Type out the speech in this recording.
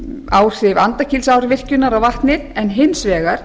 áhrif andakílsárvirkjunar á vatnið en hins vegar